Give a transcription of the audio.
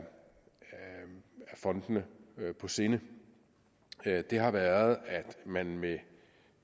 fondene på sinde det har været at man med